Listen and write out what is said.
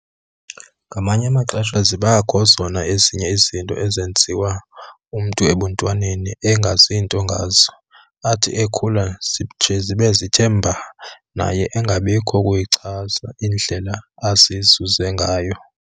Ngamanye amaxesha zibakho zona ezinye izinto azenziwayo umntu ebuntwaneni engazi nto ngazo, athi ekhula nje zibe sezithene mba naye angabinakho ukuyichaza indlela azizuze ngayo.